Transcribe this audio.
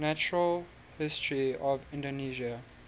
natural history of indonesia